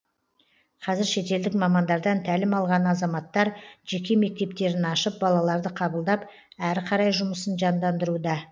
қазір шетелдік мамандардан тәлім алған азаматтар жеке мектептерін ашып балаларды қабылдап әрі қарай жұмысын жандандыруда